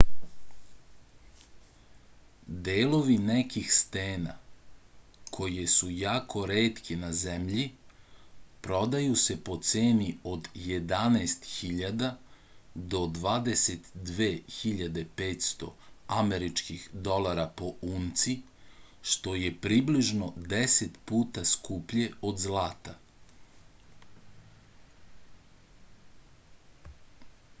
delovi nekih stena koje su jako retke na zemlji prodaju se po ceni od 11.000 do 22.500 američkih dolara po unci što je približno 10 puta skuplje od zlata